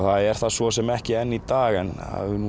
er það svo sem ekki enn í dag en